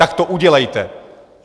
Tak to udělejte!